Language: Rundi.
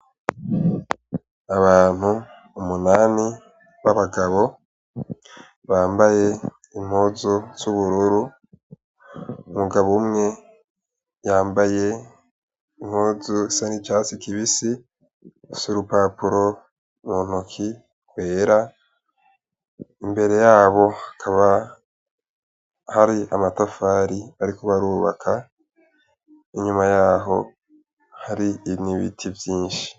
Abantu umunani b'abagabo bambaye impuzu z'ubururu umugabo umwe yambaye impuzu isa n'icatsi kibisi afise urupapuro muntoki rwera imbere yabo hakaba hari amatafari bariko barubaka inyuma yabo har'ibiti vyinshi.